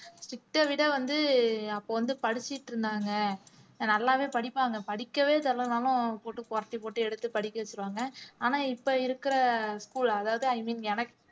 strict அ விட வந்து அப்ப வந்து படிச்சிட்டு இருந்தாங்க அஹ் நல்லாவே படிப்பாங்க படிக்கவே சொல்லலைன்னாலும் போட்டு புரட்டிப் போட்டு எடுத்து படிக்க வச்சிருவாங்க ஆனா இப்ப இருக்கிற school அதாவது i mean எனக்கு